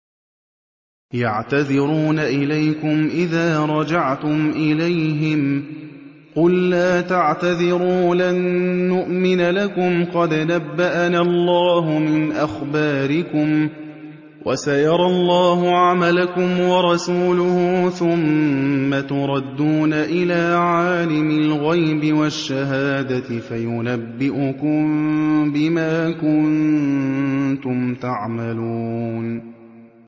يَعْتَذِرُونَ إِلَيْكُمْ إِذَا رَجَعْتُمْ إِلَيْهِمْ ۚ قُل لَّا تَعْتَذِرُوا لَن نُّؤْمِنَ لَكُمْ قَدْ نَبَّأَنَا اللَّهُ مِنْ أَخْبَارِكُمْ ۚ وَسَيَرَى اللَّهُ عَمَلَكُمْ وَرَسُولُهُ ثُمَّ تُرَدُّونَ إِلَىٰ عَالِمِ الْغَيْبِ وَالشَّهَادَةِ فَيُنَبِّئُكُم بِمَا كُنتُمْ تَعْمَلُونَ